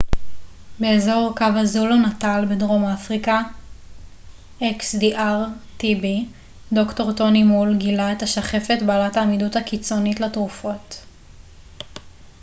"ד""ר טוני מול גילה את השחפת בעלת העמידות הקיצונית לתרופות xdr-tb באזור קווהזולו־נאטאל בדרום אפריקה.